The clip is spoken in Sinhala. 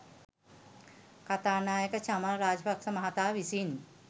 කථානායක චමල් රාජපක්‍ෂ මහතා විසින්